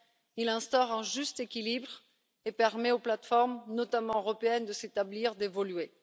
Il instaure un juste équilibre et permet aux plateformes, notamment européennes, de s'établir et d'évoluer.